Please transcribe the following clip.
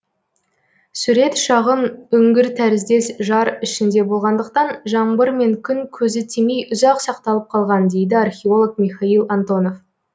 сурет шағын үңгір тәріздес жар ішінде болғандықтан жаңбыр мен күн көзі тимей ұзақ сақталып қалған дейді археолог михайл антонов